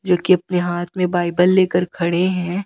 जो की अपनी हाथ में बाइबल ले कर खड़े है।